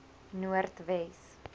noordwes